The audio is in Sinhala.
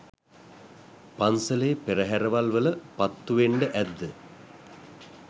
පන්සලේ පෙරහැරවල් වල පත්තුවෙන්ඩ ඇද්ද?